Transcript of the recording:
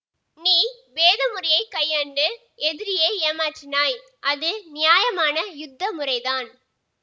நீ பேத முறையை கையாண்டு எதிரியை ஏமாற்றினாய் அது நியாயமான யுத்த முறைதான்